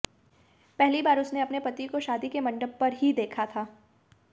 पहली बार उसने अपने पति को शादी के मंडप पर ही देखा था